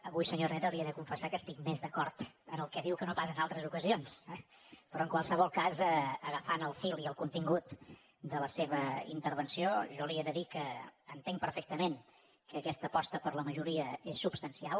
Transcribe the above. avui senyor herrera li he de confessar que estic més d’acord en el que diu que no pas en altres ocasions però en qualsevol cas agafant el fil i el contingut de la seva intervenció jo li he de dir que entenc perfectament que aquesta aposta per la majoria és substancial